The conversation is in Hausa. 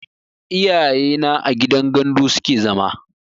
Iyaye na a gidan gandu suke zama